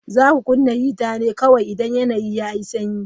Za ku kunna hita ne kawai idan yanayi yayi sanyi.